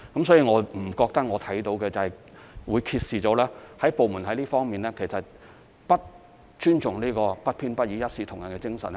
所以，我不認為這個案揭示了部門在這方面不尊重不偏不倚、一視同仁的精神。